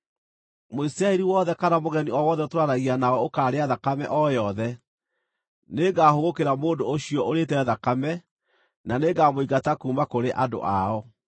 “ ‘Mũisiraeli wothe kana mũgeni o wothe ũtũũranagia nao ũkaarĩa thakame o yothe, nĩngahũgũkĩra mũndũ ũcio ũrĩĩte thakame, na nĩngamũingata kuuma kũrĩ andũ ao.